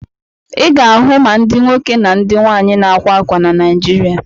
Ị ga-ahụ ma ndị nwoke na ndị nwaanyị na-ákwā ákwà na Naịjirịa.